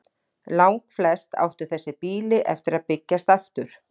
Langflest áttu þessi býli eftir að byggjast aftur.